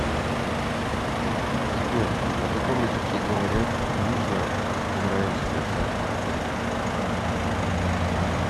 сбер на каком языке говорят в южное израильское царство